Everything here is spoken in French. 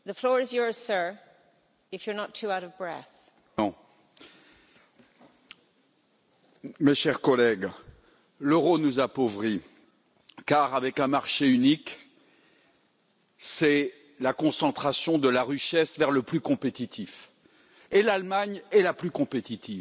Madame la Présidente, mes chers collègues, l'euro nous appauvrit, car un marché unique c'est la concentration de la richesse vers le plus compétitif, et l'Allemagne est la plus compétitive, il faut le dire.